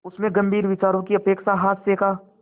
उसमें गंभीर विचारों की अपेक्षा हास्य का